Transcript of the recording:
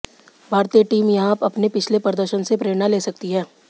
भारतीय टीम यहां अपने पिछले प्रदर्शन से प्रेरणा ले सकती है